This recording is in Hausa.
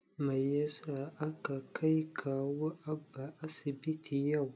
Mai yasa aka kai kawu Abba asibiti yau?